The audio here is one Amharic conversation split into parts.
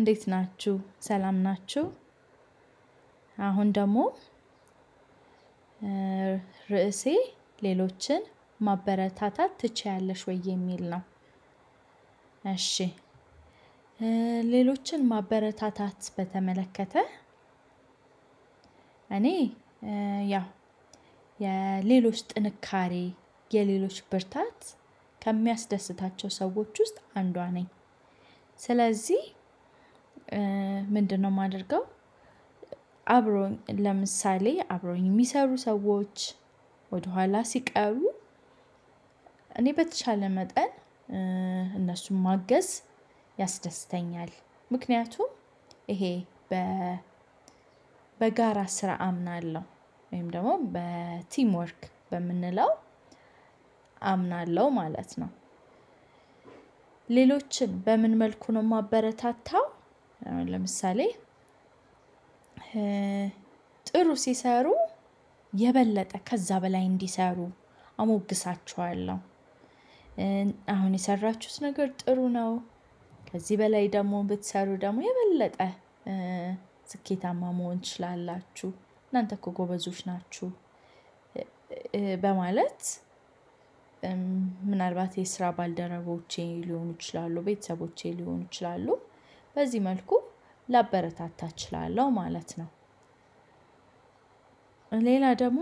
እንዴት ናችሁ ሰላም ናችሁ። አሁን ደግሞ ርዕሴ ሌሎችን ማበረታታት ትችያለሽ ወይ ይሚል ነው? ሌሎችን ማበረታታት በተመለከተ። እኔ ያው የሌሎች ጥንካሬ የሌሎች ብርታት ከሚያስደስታቸው ሰዎች ውስጥ አንዷ ነኝ። ስለዚህ ምንድነው የማደርገው አብሮኝ ለምሳሌ አብረውኝ የሚሰሩ ሰዎች ወደኋላ ሲቀሩ። እኔ በተቻለ መጠን እነሱን ማገዝ ያስደስተኛል። ምክንያቱም ይሄ በ በጋራ ስራ አምናለሁ ወይም ደግሞ በቲም ወርክ በምንለው አምናለሁ ማለት ነው። ሌሎችን በምን መልኩ ነው የማበረታታው? ለምሳሌ ጥሩ ሲሰሩ የበለጠ ከዛ በላይ እንዲሰሩ አሞግሳቸዋለሁ። አሁን የሰራችሁት ነገር ጥሩ ነው። ከዚህ በላይ ደግሞ ብትሰሩ ደግሞ የበለጠ ስኬታማ መሆን ትችላላችሁ እናንተ እኮ ጎበዞች ናችሁ። በማለት ምናልባት የስራ ባልደረቦቼ ሊሆኑ ይችላሉ ቤተሰቦቼ ሊሆኑ ይችላሉ። በዚህ መልኩ ላበረታታ እችላለሁ ማለት ነው። ሌላ ደግሞ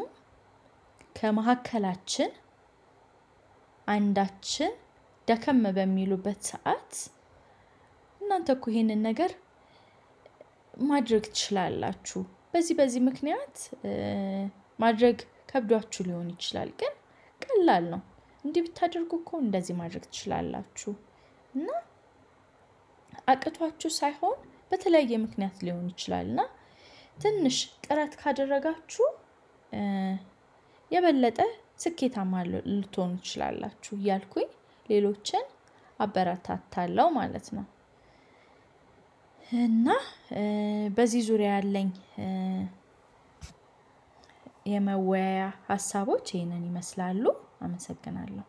ከመሀከላችን አንዳችን ደከም በሚሉበት ሰዓት። እናንተ እኮ ይሄንን ነገር ማድረግ ትችላላችሁ በዚህ በዚህ ምክንያት ማድረግ ከብዷችሁ ሊሆን ይችላል ግን ቀላል ነው። እንዲህ ብታደርጉ እኮ እንደዚህ ማድረግ ትችላላችሁ። እና አቅቷችሁ ሳይሆን በተለያየ ምክንያት ሊሆን ይችላል እና ትንሽ ጥረት ካደረጋችሁ የበለጠ ስኬታማ ልትሆኑ ትችላላችሁ። እያልኩኝ ሌሎችን አበረታታለሁ ማለት ነው። እና በዚህ ዙሪያ ያለኝ የመወያያ ሀሳቦች ይህንን ይመስላሉ አመሰግናለሁ።